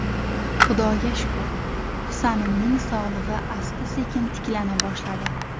Xudoga shukr, Husanimning sog‘lig‘i asta-sekin tiklana boshladi.